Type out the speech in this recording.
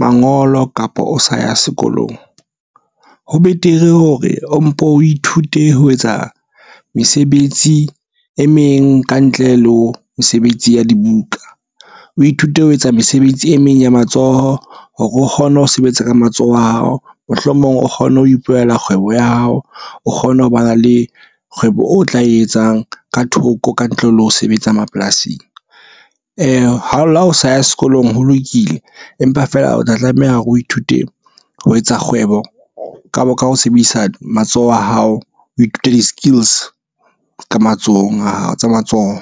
mangolo kapa o sa ya sekolong ho betere hore o mpo o ithute ho etsa mesebetsi e meng kantle le ho mesebetsi ya dibuka o ithute ho etsa mesebetsi e meng ya matsoho. Hore o kgone ho sebetsa ka matsoho a hao mohlomong o kgone ho ipulela kgwebo ya hao o kgone ho ba na le kgwebo o tla e etsang ka thoko kantle le ho sebetsa mapolasing. Ha o le ha o sa ya sekolong ho lokile empa feela o tla tlameha hore o ithute ho etsa kgwebo kapo ka ho sebedisa matsoho a hao o ithute di-skills ka matsohong a hao tsa matsoho.